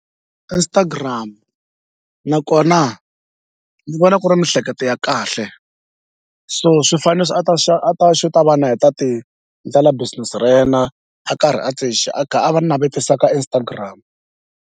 Instagram nakona zi vona ku ri mihleketo ya kahle so swifaniso a ta a ta xi ta vana heta ti ndlela business ra yena a karhi a a kha a va navetisa ka Instagram.